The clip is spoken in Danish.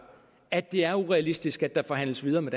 at det er urealistisk at der forhandles videre med